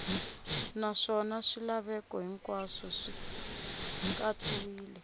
naswona swilaveko hinkwaswo swi katsiwile